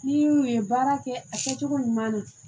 N'i y'u ye baara kɛ a kɛcogo ɲuman na